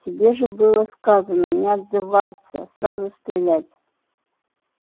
тебе же было сказано не отзываются сразу стрелять